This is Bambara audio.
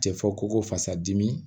Cɛ fɔ ko fasa dimi